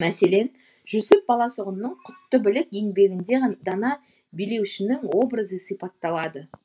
мәселен жүсіп баласұғұнның құтты білік еңбегінде дана билеушінің образы сипатталады